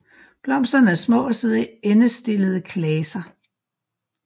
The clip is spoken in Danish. Blomsterne er små og sidder i endestillede klaser